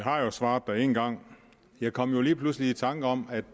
har jo svaret en gang jeg kom lige pludselig i tanke om at